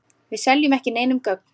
Við seljum ekki neinum gögn.